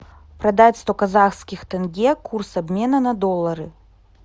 продать сто казахских тенге курс обмена на доллары